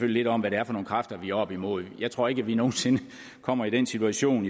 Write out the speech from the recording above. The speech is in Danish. lidt om hvad det er for nogle kræfter vi er oppe imod jeg tror ikke at vi nogen sinde kommer i den situation